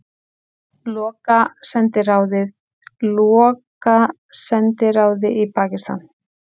Loka sendiráði í Pakistan